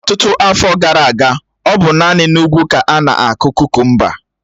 Ọtụtụ afọ gara aga, ọ bụ naanị n'ugwu ka ánà-akụ kukumba